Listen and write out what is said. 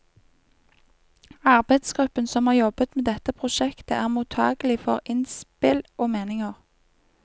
Arbeidsgruppen som har jobbet med dette prosjektet er mottakelig for innspill og meninger.